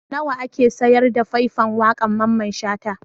Nawa ake sayar da fai-fan waƙar Mamman Shata?